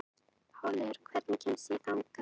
Háleygur, hvernig kemst ég þangað?